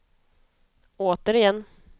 återigen